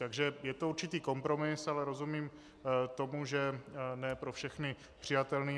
Takže je to určitý kompromis, ale rozumím tomu, že ne pro všechny přijatelný.